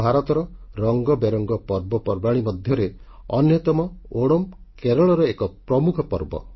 ଭାରତର ବର୍ଣ୍ଣାଢ୍ୟ ପର୍ବପର୍ବାଣୀ ମଧ୍ୟରେ ଅନ୍ୟତମ ଓଣାମ୍ କେରଳର ଏକ ପ୍ରମୁଖ ପର୍ବ